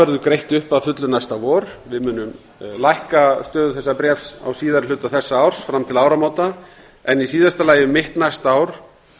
verður greitt upp að fullu næsta vor við munum lækka stöðu þessa bréfs á síðari hluta þessa árs fram til áramóta en í síðasta lagi um mitt næsta ár